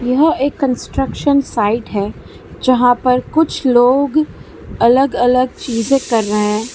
यह एक construction side है जहां पर कुछ लोग अलग अलग चीजे कर रहे हैं।